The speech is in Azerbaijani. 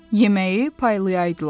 Yeməyi paylayaydılar.